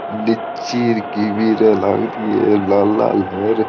लीची कीवी ये लागरी है लाल लाल दिख रहे है।